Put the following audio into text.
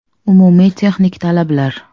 Umumiy texnik talablar.